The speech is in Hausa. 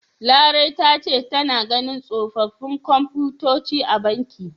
Larai ta ce tana ganin tsofaffin komfutoci a banki.